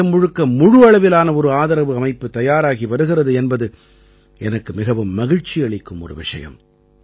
தேசம் முழுக்க முழு அளவிலான ஒரு ஆதரவு அமைப்பு தயாராகி வருகிறது என்பது எனக்கு மிகவும் மகிழ்ச்சி அளிக்கும் ஒரு விஷயம்